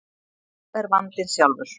Nú er vandinn sjálfur.